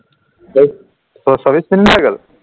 minute নাহা কেলৈ